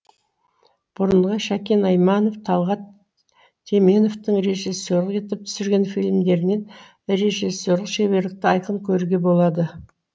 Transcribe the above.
бұрынғы шәкен айманов талғат теменовтың режиссерлік етіп түсірген фильмдерінен режиссерлік шеберлікті айқын көруге болады